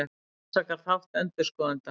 Rannsakar þátt endurskoðenda